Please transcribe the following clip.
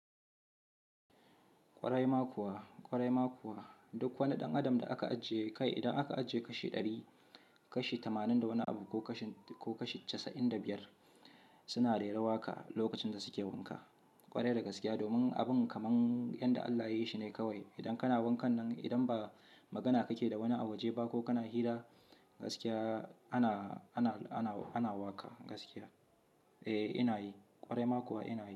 Kwarai ma kuwa, kwarai ma kuwa. Duk wani ɗan adam da aka ajiye kai, idan aka ajiye kashi ɗari, kashi tamanin da wani abu ko kashi casa'in da biyar suna rera waƙa lokacin da suke wanka. Kwarai da gaskiya domin abin kamar yanda Allah ya yi shi ne kawai. Idan kana wankan nan, idan ba magana kake da wani a waje ba ko kana hira, gaskiya ana, ana, ana waƙa gaskiya. Eh ina yi, kwarai ma kuwa ina yi.